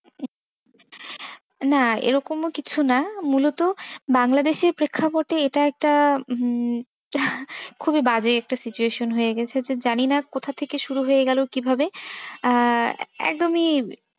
না এরকমও কিছু না। মূলত বাংলাদেশের প্রেক্ষাপটে এটা একটা হম খুবই বাজে একটা situation হয়ে গেছে যে জানি না কোথা থেকে শুরু হয়ে গেল কিভাবে আহ একদমই,